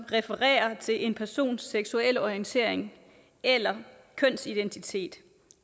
refererer til en persons seksuelle orientering eller kønsidentitet